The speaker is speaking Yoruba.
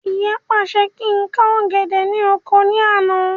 Ìyá pàṣẹ kí ń ká ọ̀gẹ̀dẹ̀ ni oko ní àná